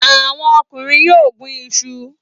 Àwọn ọkùnrin yóò gún iṣu.